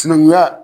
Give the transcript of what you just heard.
Sinankunya